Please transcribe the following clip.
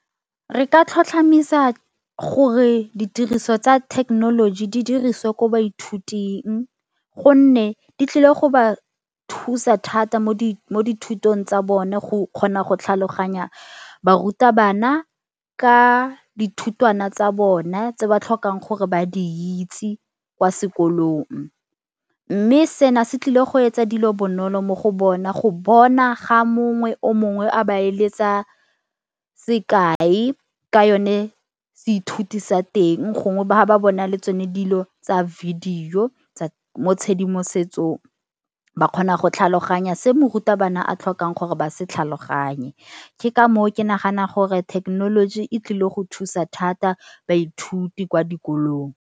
Re ka tlhotlhomisa gore ditiriso tsa thekenoloji di diriswe ko baithuting gonne di tlile go ba thusa thata mo di mo dithutong tsa bone go kgona go tlhaloganya barutabana ka dithutwana tsa bone tse ba tlhokang gore ba di itse kwa sekolong. Mme seno se tlile go etsa dilo bonolo mo go bona go bona ga mongwe o mongwe a ba eletsa sekai ka yone se ithuti sa teng gongwe ba ba bona le tsone dilo tsa video mo tshedimosetsong ba kgona go tlhaloganya se morutabana a tlhokang gore ba se tlhaloganye. Ke ka moo ke nagana gore thekenoloji e tlile go thusa thata baithuti kwa dikolong.